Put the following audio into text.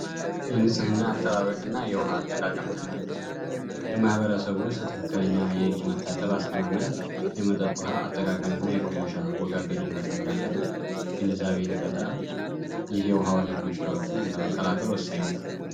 የንፅህና አጠባበቅ እና የውሃ አያያዝ ትምህርት በማህበረሰቡ ውስጥ ትክክለኛ የእጅ አስተጣጠብ ፣የመጠጥ ውሃ አጠቃቀም እና የቆሻሻ አወጋገድን በተመለከተ ግንዛቤን ይፈጥራል። ይሄ ውሃ ወለድ በሽታዎችን ለመከላከል ወሳኝ ነው።